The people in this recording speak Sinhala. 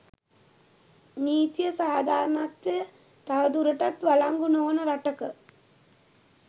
නීතිය සාධාරණත්වය තවදුරටත් වලංගු නොවන රටක